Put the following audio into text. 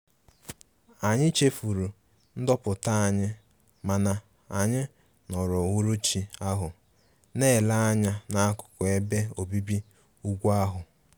Anyị chefuru ndoputa anyị mana anyị nọrọ uhuruchi ahu na-ele anya n'akụkụ ebe obibi ugwu ahụ